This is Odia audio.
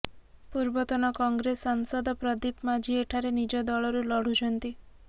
ପୂର୍ବତନ କଂଗ୍ରେସ ସାଂସଦ ପ୍ରଦୀପ ମାଝି ଏଠାରେ ନିଜ ଦଳରୁ ଲଢୁଛନ୍ତି